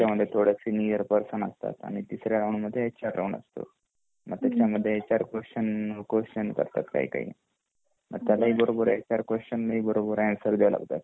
त्याचमद्धे थोडा सीनियर पर्सन'असतात आणि तिसऱ्या राऊंड मध्ये एच आर राऊंड असतो मग एच आर क्वेस्चन करतात काही काही मग त्याला ही बरोबर एच आर ही बरोबर आन्सर द्याव लागतात